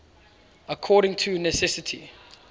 according to necessity